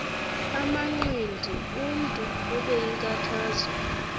amanqindi umntu obeyinkathazo